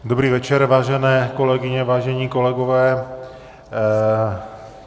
Dobrý večer, vážené kolegyně, vážení kolegové.